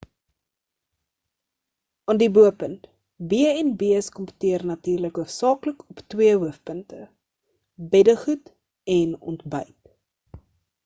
aan die bo-punt b&b’s kompeteer natuurlik hoofsaaklik op twee hoofpunte: beddegoed en ontbyt